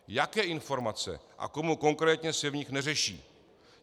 Jaké informace a komu konkrétně, se v nich neřeší.